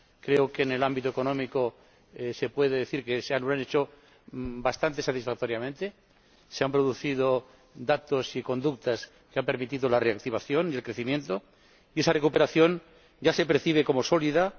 Creo que, en el ámbito económico, se puede decir que lo han hecho bastante satisfactoriamente y que ha habido datos y conductas que han permitido la reactivación y el crecimiento, y esa recuperación ya se percibe como sólida.